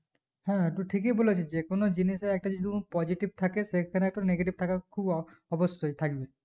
হ্যাঁ তু ঠিকই বুলেছিস যেকোনো জিনিসের একটা যদি কোনো positive থাকে সেখানে একটা negative থাকা খুব অঅবশই থাকবেই